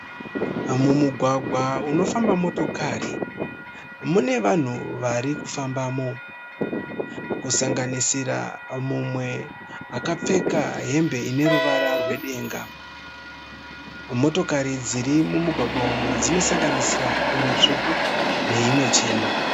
Mumugwagwa munofamba motokari mune vanhu vari kufambamo. Kusanganisira mumwe akapfeka hembe ineruvara rwedenga. Motokari dziri mumugwagwa umu dzinosanganisira imwe stvuku neimwe chena.